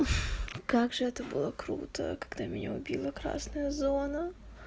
как же это было круто когда меня убила красная зона